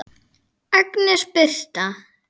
Agnes Birtna.